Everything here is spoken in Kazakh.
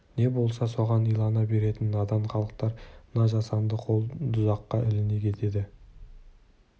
не болса соған илана беретін надан халықтар мына жасанды қол дұзаққа іліне кетеді